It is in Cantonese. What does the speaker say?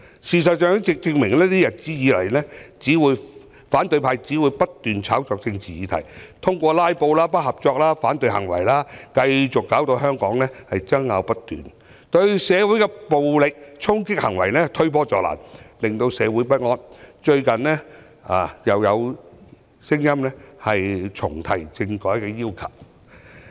事實上，過去一段日子已可證明，反對派只會不斷炒作政治議題，通過"拉布"、不合作等行為，繼續導致香港爭拗不斷，對社會的暴力衝擊行為推波助瀾，令社會不安，最近又有聲音重提政改的要求。